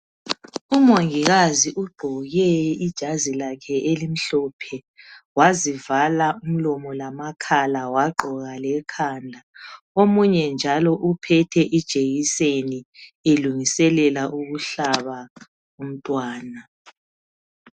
Umongikazi ugqoke ijazi lakhe elimhlophe. Wazivala umlomo lamakhala. Wagqoka kekhanda. Omunye njalo, uphethe ijekiseni, elungiselela ukuhlaba umntwana.